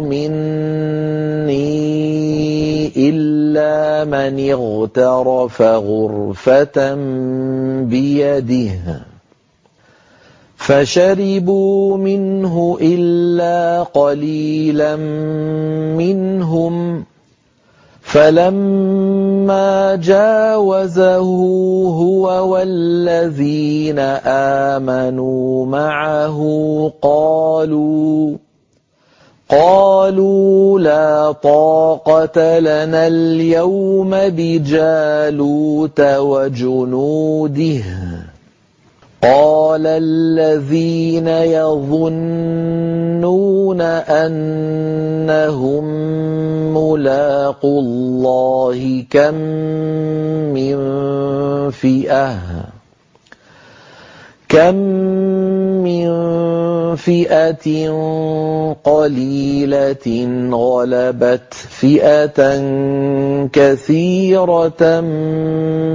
مِنِّي إِلَّا مَنِ اغْتَرَفَ غُرْفَةً بِيَدِهِ ۚ فَشَرِبُوا مِنْهُ إِلَّا قَلِيلًا مِّنْهُمْ ۚ فَلَمَّا جَاوَزَهُ هُوَ وَالَّذِينَ آمَنُوا مَعَهُ قَالُوا لَا طَاقَةَ لَنَا الْيَوْمَ بِجَالُوتَ وَجُنُودِهِ ۚ قَالَ الَّذِينَ يَظُنُّونَ أَنَّهُم مُّلَاقُو اللَّهِ كَم مِّن فِئَةٍ قَلِيلَةٍ غَلَبَتْ فِئَةً كَثِيرَةً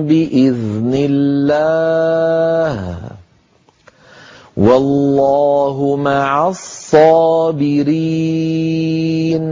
بِإِذْنِ اللَّهِ ۗ وَاللَّهُ مَعَ الصَّابِرِينَ